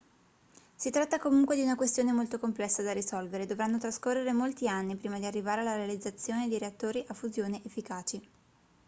si tratta comunque di una questione molto complessa da risolvere e dovranno trascorrere molti anni prima di arrivare alla realizzazione di reattori a fusione efficaci